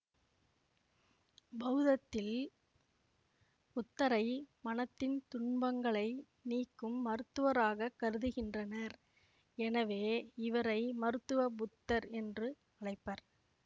பௌதத்தில் புத்தரை மனத்தின் துன்பங்களை நீக்கும் மருத்துவராகக் கருதுகின்றனர்எனவே இவரை மருத்துவ புத்தர் என்று அழைப்பர்